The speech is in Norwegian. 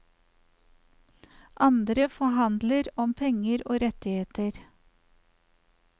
Andre forhandler om penger og rettigheter.